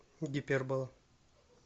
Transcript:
гипербола